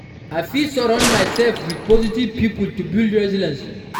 I fit surround myself with positive people to build my resilience.